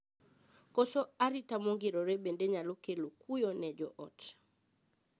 Koso arita mongirore bende nyalo kelo kuyo ne joot.